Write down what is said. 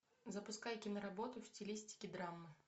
запускай киноработу в стилистике драма